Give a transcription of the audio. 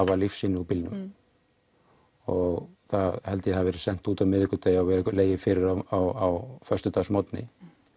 var lífsýni úr bílnum og það held ég að hafi verið sent út á miðvikudegi og legið fyrir á föstudagsmorgni